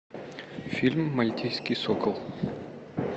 фильм мальтийский сокол